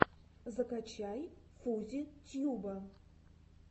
закачай фузи тьюба